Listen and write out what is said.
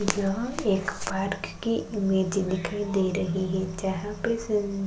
यह एक पार्क की इमेज दीखाई दे रही है जहाँ पे सीम --